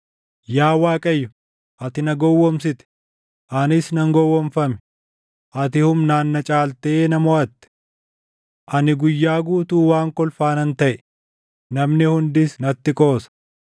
Yaa Waaqayyo, ati na gowwoomsite; // anis nan gowwoomfame; ati humnaan na caaltee na moʼatte. Ani guyyaa guutuu waan kolfaa nan taʼe; namni hundis natti qoosa.